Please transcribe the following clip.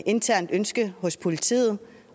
internt ønske hos politiet